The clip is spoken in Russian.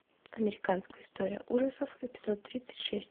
американская история ужасов эпизод тридцать шесть